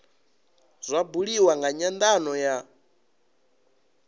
zwa buliwa nga nyandano ya